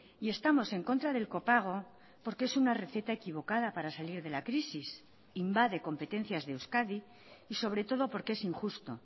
y estamos en contra del copago porque es una receta equivocada para salir de la crisis invade competencias de euskadi y sobre todo porque es injusto